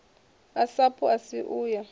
a sapu asi u ya